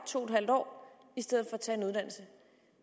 to en halv år i stedet for tage en uddannelse